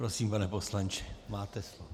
Prosím, pane poslanče, máte slovo.